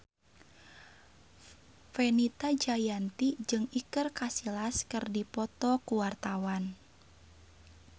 Fenita Jayanti jeung Iker Casillas keur dipoto ku wartawan